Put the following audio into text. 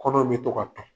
Kɔnɔ bɛ to ka ta